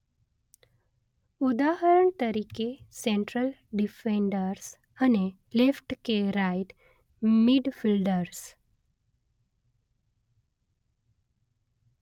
ઉદાહરણ તરીકે central defenders અને લેફ્ટ કે રાઇટ મિડફિલ્ડર્સ